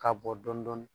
K'a bɔ dɔɔnin dɔɔnin